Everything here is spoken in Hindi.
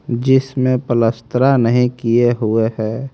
जिसमें पलस्तरा नहीं किए हुए हैं।